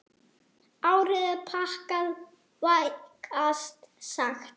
Árið er pakkað, vægast sagt.